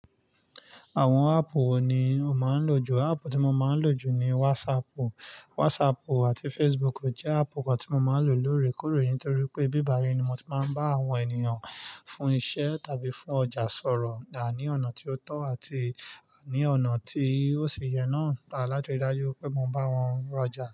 Àwọn áàpù wo ni o máa ń lò jù? Áàpù tí mo máa ń lò jù ni WhatsApp. WhatsApp àti Facebook jẹ́ áàpù kan tí mo máa ń lòorekore nitorí pé bíbàyí ni mo ti máa ń bá àwọn ènìyàn fún iṣẹ́ tàbí fún ọjà sọ̀rọ̀, à ní ọ̀nà tí ó tọ́ àti àní ọ̀nà tí ó ṣi yẹ náà, a lati ri dájú pé mo ń bá wọn ra ọjà.